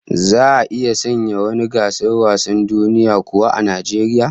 Za'a iya sanya wani gasar wasan duniya kuwa a Najeriya?